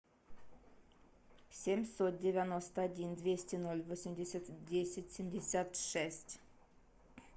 семьсот девяносто один двести ноль восемьдесят десять семьдесят шесть